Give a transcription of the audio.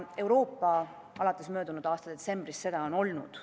Euroopa on alates möödunud aasta detsembrist seda olnud.